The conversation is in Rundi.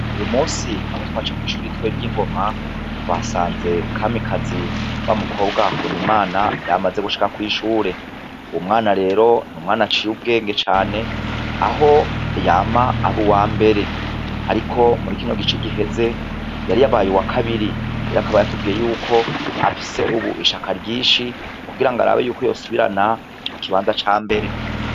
Uyu munsi aho twaca kw'ishure ritoyi ry'i Ngoma, twahasanze Kamikazi wa mukobwa wa Habonimana, yamaze gushika kw'ishure, uwo mwana rero n'umwana aciye ubwenge cane aho yama aba uwambere, ariko muri kino gice giheze yari yabaye uwa kabiri, rero akaba yatubwiye ko afise ubu ishaka ryinshi kugira arabe ko yosubirana ca kibanza cambere.